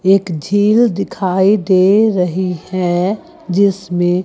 एक झील दिखाई दे रही है जिसमें--